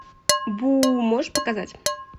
бу можешь показать